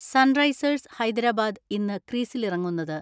Sunrisers Hyderabad ഇന്ന് ക്രീസിലിറങ്ങുന്നത്.